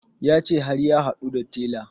Ya ce har ya haɗu da tela